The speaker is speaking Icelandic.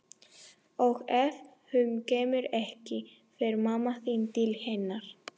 Og ef hún kemur ekki, fer mamma þín til hennar.